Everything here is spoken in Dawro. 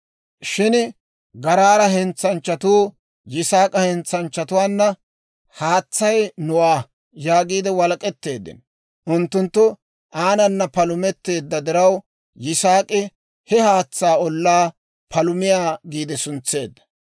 Shin Garaara hentsanchchatuu Yisaak'a hentsanchchatuwaana, «Haatsay nuwaa» yaagiide walak'etteeddino. Unttunttu aanana palumetteedda diraw, Yisaak'i he haatsaa ollaa, «Palumiyaa» giide suntseedda.